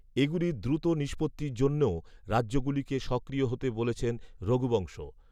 এগুলির দ্রুত নিষ্পত্তির জন্যেও রাজ্যগুলিকে সক্রিয় হতে বলেছেন রঘুবংশ